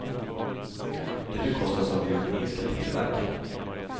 De bekostas av de europeiska televerken.